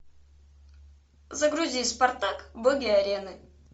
загрузи спартак боги арены